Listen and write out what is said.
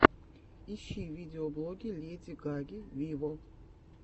ищи видеоблоги леди гаги виво